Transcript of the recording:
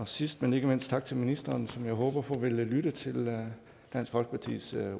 sidst men ikke mindst tak til ministeren som jeg håber på vil lytte til dansk folkepartis